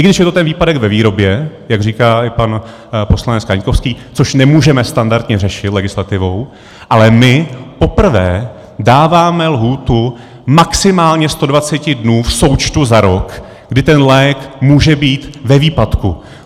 I když je to ten výpadek ve výrobě, jak říká i pan poslanec Kaňkovský, což nemůžeme standardně řešit legislativou, ale my poprvé dáváme lhůtu maximálně 120 dnů v součtu za rok, kdy ten lék může být ve výpadku.